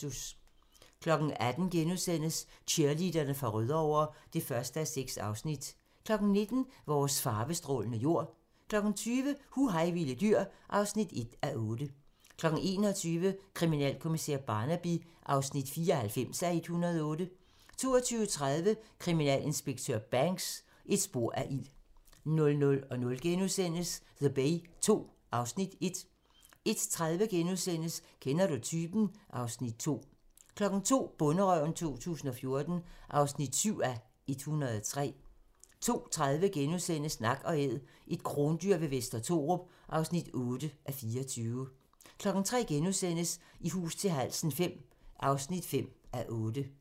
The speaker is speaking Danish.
18:00: Cheerleaderne fra Rødovre (1:6)* 19:00: Vores farvestrålende jord 20:00: Hu hej vilde dyr (1:8) 21:00: Kriminalkommissær Barnaby (94:108) 22:30: Kriminalinspektør Banks: Et spor af ild 00:00: The Bay II (Afs. 1)* 01:30: Kender du typen? (Afs. 2)* 02:00: Bonderøven 2014 (7:103) 02:30: Nak & Æd - et krondyr ved Vester Thorup (8:24)* 03:00: I hus til halsen V (5:8)*